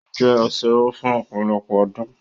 Ó jẹ́ asẹ́wó fún ọpọ̀lọpọ̀ ọdún